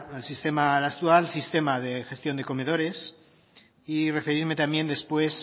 actual sistema de gestión de comedores y referirme también después